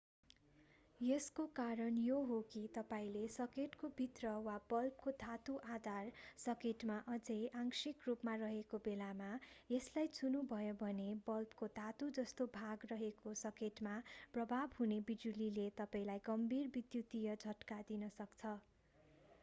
यसको कारण यो हो कि तपाईंले सकेटको भित्र वा बल्बको धातु आधार सकेटमा अझै आंशिक रूपमा रहेको बेलामा यसलाई छुनुभयो भने बल्बको धातु जस्तो भाग रहेको सकेटमा प्रवाह हुने बिजुलीले तपाईंलाई गम्भीर विद्युतीय झट्का दिन सक्छ